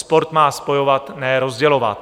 Sport má spojovat, ne rozdělovat.